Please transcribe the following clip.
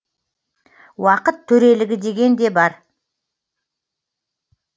уақыт төрелігі деген де бар